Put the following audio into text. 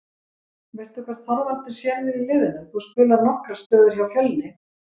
Veistu hvar Þorvaldur sér þig í liðinu, þú spilaðir nokkrar stöður hjá Fjölni?